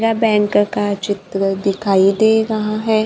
यह बैंक का चित्र दिखाइए दे रहा है।